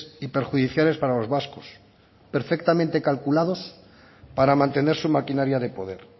y perjudiciales para los vascos perfectamente calculados para mantener su maquinaria de poder